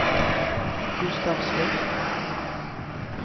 Gustavsfors